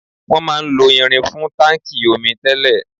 Wọn máà ń lo irin fún táńkì omi tẹ́lẹ̀.